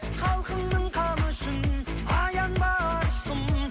халқыңның қамы үшін аянба арысым